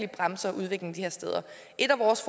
bremser udviklingen de her steder et af vores